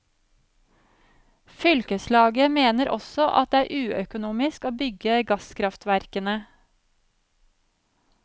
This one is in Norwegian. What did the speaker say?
Fylkeslaget mener også at det er uøkonomisk å bygge gasskraftverkene.